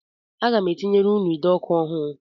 Aga m etinyere ụnụ ide ọkụ ọhụụ